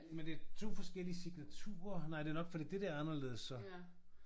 Men det er 2 forskellige signaturer nej det er nok fordi det der er anderledes så